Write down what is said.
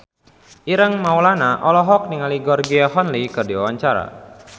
Ireng Maulana olohok ningali Georgie Henley keur diwawancara